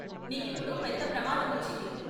నీకిప్పుడు పెద్ద ప్రమాదం వచ్చింది.